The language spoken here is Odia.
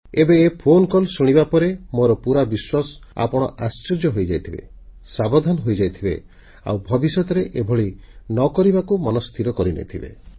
ଏବେ ଏ ଫୋନକଲ ଶୁଣିବା ପରେ ମୋର ପୁରା ବିଶ୍ୱାସ ଆପଣ ଆଶ୍ଚର୍ଯ୍ୟ ହୋଇଯାଇଥିବେ ସାବଧାନ ହୋଇଯାଇଥିବେ ଆଉ ଭବିଷ୍ୟତରେ ଏଭଳି ନ କରିବାକୁ ମନସ୍ଥିର କରିନେଇଥିବେ